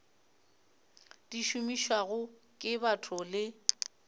di šomišwago ke batho le